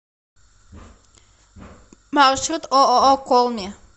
маршрут ооо колми